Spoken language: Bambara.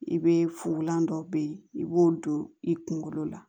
I be fugulan dɔ be yen i b'o don i kunkolo la